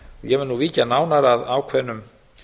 ég mun nú víkja nánar að ákveðnum